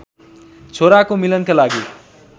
छोराको मिलनका लागि